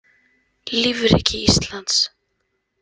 Lífríki Íslands.